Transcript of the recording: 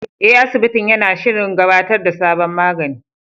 Eh, asibitin yana shirin gabatar da sabon magani.